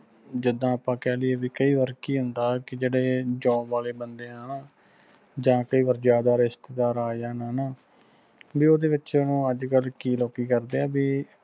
ਜਿੰਦਾ ਆਪਾ ਕਹਿ ਦਈਏ ਕਿ ਕਈ ਵਾਰ ਕਿ ਹੁੰਦਾ ਕਿ job ਆਲੇ ਬੰਦੇ ਆ ਹਨਾ ਜਾ ਕਈ ਵਾਰ ਜਿਆਦਾ ਰਿਸਤੇਦਾਰ ਆ ਜਾਨ ਹਣਾ ਵੀ ਉਹਦੇ ਵਿੱਚ ਕਿ ਅੱਜ ਕੱਲ ਕੀ ਲੋਕੀ ਕਰਦੇ ਆ ਵੀ